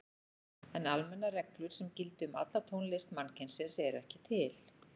En almennar reglur sem gildi um alla tónlist mannkynsins eru ekki til.